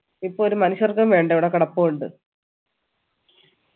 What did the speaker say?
ഇപ്പൊ ഒരു മനുഷ്യർക്കും വേണ്ട ഇവിടെ കെടപ്പുണ്ട്